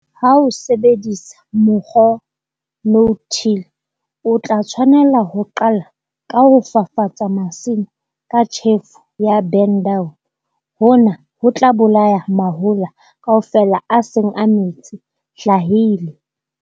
Ha o sebedisa mokgwa no-till, o tla tshwanela ho qala ka ho fafatsa masimo ka tjhefo ya burn-down. Hona ho tla bolaya mahola kaofela a seng a metse-hlahile.